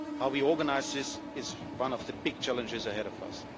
economy. How we organise this is one of the big challenges ahead